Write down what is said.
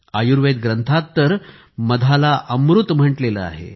आयुर्वेद ग्रंथांत तर मधला अमृत म्हटलं आहे